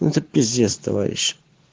ну это пиздец товарищ